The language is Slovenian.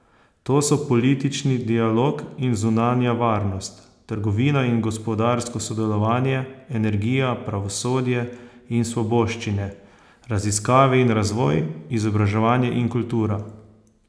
To so politični dialog in zunanja varnost, trgovina in gospodarsko sodelovanje, energija, pravosodje in svoboščine, raziskave in razvoj, izobraževanje in kultura.